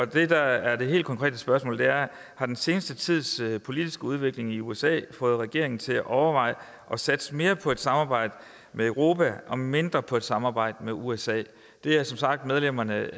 det der er det helt konkrete spørgsmål er har den seneste tids politiske udvikling i usa fået regeringen til at overveje at satse mere på et samarbejde med europa og mindre på et samarbejde med usa det er som sagt medlemmerne